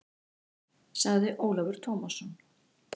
spurði Ólafur Tómasson.